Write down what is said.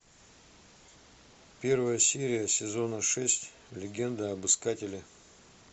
первая серия сезона шесть легенда об искателе